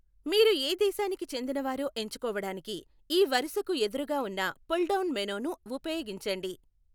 మీరు ఏ దేశానికి చెందినవారో ఎంచుకోవడానికి ఈ వరుసకు ఎదురుగా ఉన్న పుల్ డౌన్ మెనూను ఉపయోగించండి.